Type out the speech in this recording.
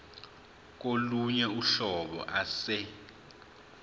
kolunye uhlobo ase